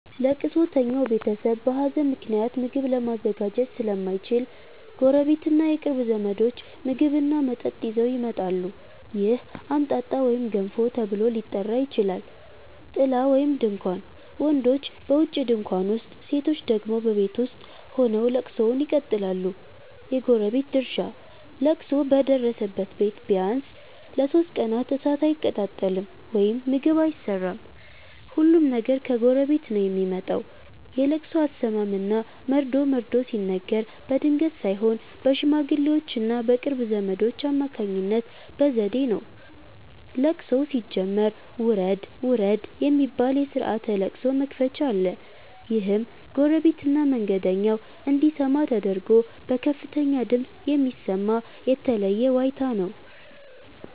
ለቅሶተኛው ቤተሰብ በሀዘን ምክንያት ምግብ ለማዘጋጀት ስለማይችል፣ ጎረቤትና የቅርብ ዘመዶች ምግብና መጠጥ ይዘው ይመጣሉ። ይህ "አምጣጣ" ወይም "ገንፎ" ተብሎ ሊጠራ ይችላል። ጥላ (ድንኳን): ወንዶች በውጪ ድንኳን ውስጥ፣ ሴቶች ደግሞ በቤት ውስጥ ሆነው ለቅሶውን ይቀጥላሉ። የጎረቤት ድርሻ: ለቅሶ በደረሰበት ቤት ቢያንስ ለሦስት ቀናት እሳት አይቀጣጠልም (ምግብ አይሰራም)፤ ሁሉም ነገር ከጎረቤት ነው የሚመጣው። የለቅሶ አሰማም እና መርዶ መርዶ ሲነገር በድንገት ሳይሆን በሽማግሌዎችና በቅርብ ዘመዶች አማካኝነት በዘዴ ነው። ለቅሶው ሲጀመር "ውረድ ውረድ" የሚባል የስርዓተ ለቅሶ መክፈቻ አለ። ይህም ጎረቤትና መንገደኛው እንዲሰማ ተደርጎ በከፍተኛ ድምፅ የሚሰማ የተለየ ዋይታ ነው።